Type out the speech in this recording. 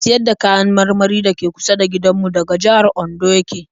Mai siyar da kayan marmari da ke kusa da gindanmu daga jihar Ondo ya ke